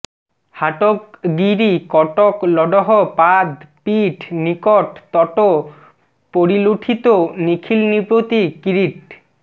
হাটক গিরি কটক লডহ পাদ পীঠ নিকট তট পরিলুঠিত নিখিলনৃপতি কিরীট